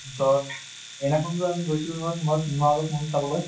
পিছত সেইদিনা খন টো আমি গৈছিলো নহয় cinema hall ত movie চাবলৈ?